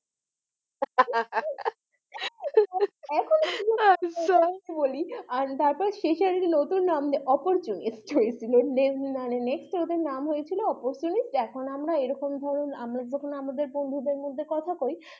তারপর শেষে এ নতুন নাম opportunists হয়েছিল next ওদের নাম হয়েছিল opportunists এখন আমরা এরকম ধরুন আমরা যখন আমাদের বন্ধুদের মধ্যে কথা কই